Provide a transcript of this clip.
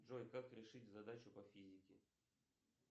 джой как решить задачу по физике